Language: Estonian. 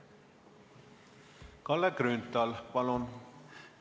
Kalle Grünthal, palun!